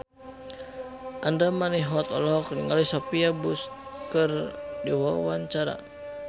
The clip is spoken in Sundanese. Andra Manihot olohok ningali Sophia Bush keur diwawancara